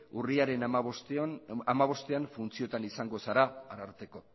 urriaren hamabostean funtzioetan izango zara arartekoa